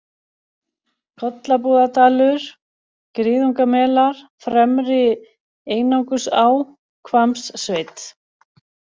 Kollabúðadalur, Griðungamelar, Fremri-Einangursá, Hvammssveit